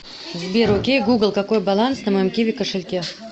сбер окей гугл какой баланс на моем киви кошельке